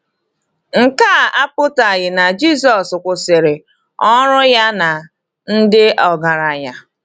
Nke a apụtaghị na Jisọs kwụsịrị ọrụ ya na ndị ọgaranya.